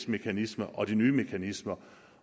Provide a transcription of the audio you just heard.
mekanismer og de nye mekanismer